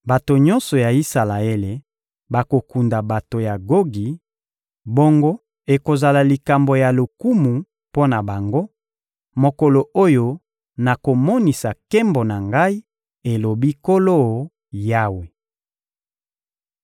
Bato nyonso ya Isalaele bakokunda bato ya Gogi; bongo ekozala likambo ya lokumu mpo na bango, mokolo oyo nakomonisa nkembo na Ngai, elobi Nkolo Yawe.